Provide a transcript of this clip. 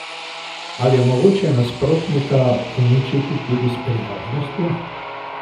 Ali je mogoče nasprotnika uničiti tudi s prijaznostjo?